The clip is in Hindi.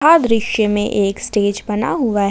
यह दृश्य में एक स्टेज बना हुआ है।